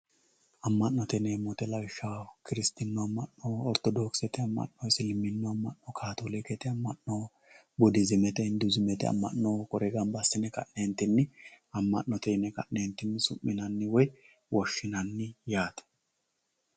Ama'note yineemo woyite lawishaho kirisitinu ama'no, oritodokisete ama'no, isiliminu ama'no, katolikkete ama'no budizzimette hinfuuzzimete ama'no kuri gamba adine ka'nentitinn ama'note yine suminanni woyi woshinanni yaate.